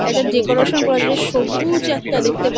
একটা ডেকোরেশন করার জন্য সবুজ একটা দেখতে পা--